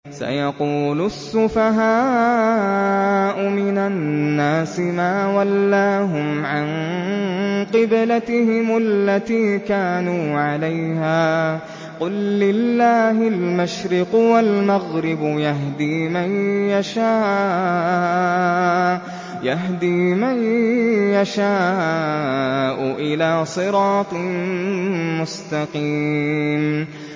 ۞ سَيَقُولُ السُّفَهَاءُ مِنَ النَّاسِ مَا وَلَّاهُمْ عَن قِبْلَتِهِمُ الَّتِي كَانُوا عَلَيْهَا ۚ قُل لِّلَّهِ الْمَشْرِقُ وَالْمَغْرِبُ ۚ يَهْدِي مَن يَشَاءُ إِلَىٰ صِرَاطٍ مُّسْتَقِيمٍ